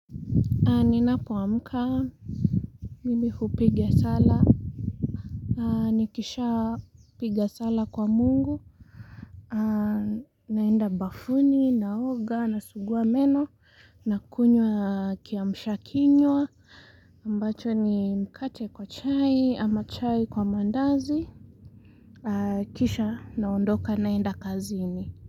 Ninapoamka, mimi hupiga sala, nikishapiga sala kwa Mungu, naenda bafuni, naoga, nasugua meno, nakunywa kiamshakinywa, ambacho ni mkate kwa chai, ama chai kwa mandazi, kisha naondoka naenda kazini.